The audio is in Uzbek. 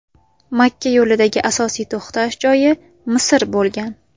Makka yo‘lidagi asosiy to‘xtash joyi Misr bo‘lgan.